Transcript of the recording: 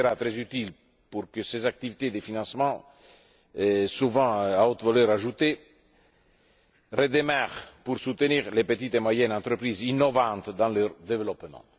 fois. Il sera très utile pour que ces activités de financement, souvent à haute valeur ajoutée, redémarrent pour soutenir les petites et moyennes entreprises innovantes dans leur développement.